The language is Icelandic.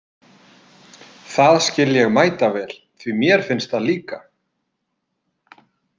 Það skil ég mætavel, því mér finnst það líka!